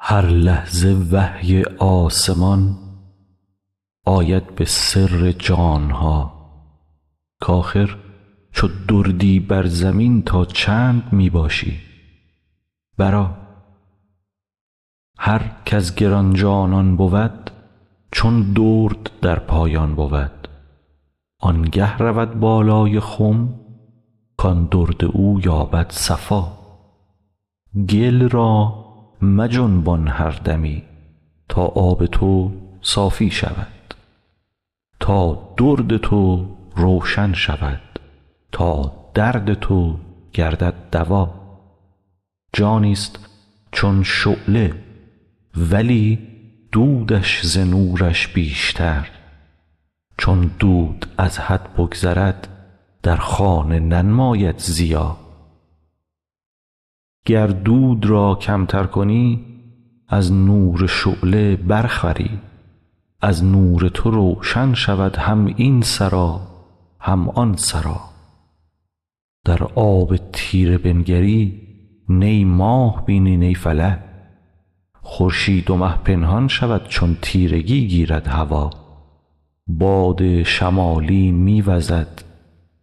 هر لحظه وحی آسمان آید به سر جان ها کاخر چو دردی بر زمین تا چند می باشی برآ هر کز گران جانان بود چون درد در پایان بود آنگه رود بالای خم کان درد او یابد صفا گل را مجنبان هر دمی تا آب تو صافی شود تا درد تو روشن شود تا درد تو گردد دوا جانیست چون شعله ولی دودش ز نورش بیشتر چون دود از حد بگذرد در خانه ننماید ضیا گر دود را کمتر کنی از نور شعله برخوری از نور تو روشن شود هم این سرا هم آن سرا در آب تیره بنگری نی ماه بینی نی فلک خورشید و مه پنهان شود چون تیرگی گیرد هوا باد شمالی می وزد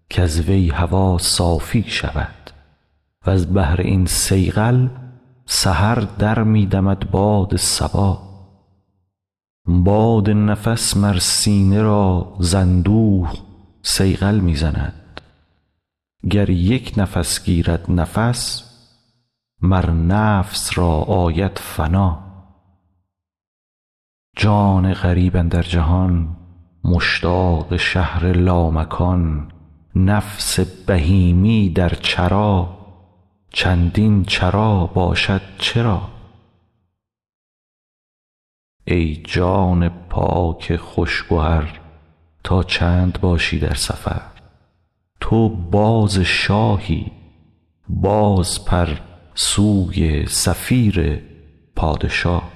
کز وی هوا صافی شود وز بهر این صیقل سحر در می دمد باد صبا باد نفس مر سینه را ز اندوه صیقل می زند گر یک نفس گیرد نفس مر نفس را آید فنا جان غریب اندر جهان مشتاق شهر لامکان نفس بهیمی در چرا چندین چرا باشد چرا ای جان پاک خوش گهر تا چند باشی در سفر تو باز شاهی بازپر سوی صفیر پادشا